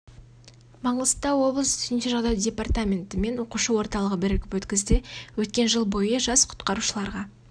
маңғыстау облысы төтенше жағдай департаменті мен оқушы орталығы бірігіп өткізді өткен жыл бойы жас құтқарушыларға